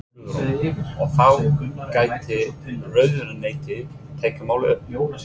Guðrún: Og þá gæti ráðuneytið tekið málið upp?